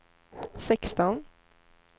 sexton